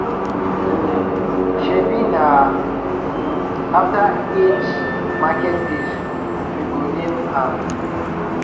um shebi na um after eight market days we go name am